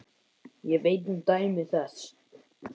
Ég veit um dæmi þess.